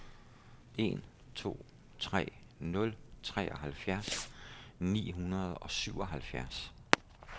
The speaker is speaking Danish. en to tre nul treoghalvfjerds ni hundrede og syvoghalvfjerds